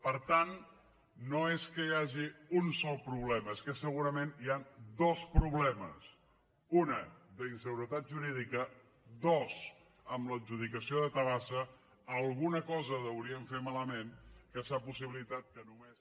per tant no és que hi hagi un sol problema és que segurament hi han dos problemes un d’inseguretat jurídica dos amb l’adjudicació de tabasa alguna cosa deuríem fer malament que s’ha possibilitat que només